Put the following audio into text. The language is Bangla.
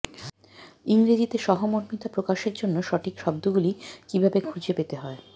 ইংরেজিতে সহমর্মিতা প্রকাশের জন্য সঠিক শব্দগুলি কিভাবে খুঁজে পেতে হয়